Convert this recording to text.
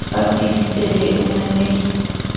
ba tshedisehe o na le